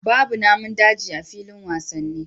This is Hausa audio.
Babu Namin daji a filin wasanni